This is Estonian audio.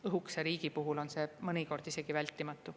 Õhukese riigi puhul on see mõnikord isegi vältimatu.